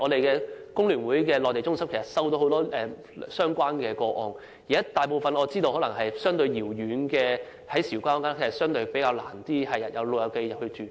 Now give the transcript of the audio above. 工聯會的內地中心接獲很多相關個案，我亦知道位於韶關的護老院舍可能相對遙遠，較難吸引長者入住。